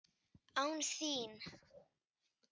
Án þín!